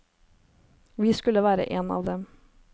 Vi skulle være en av dem.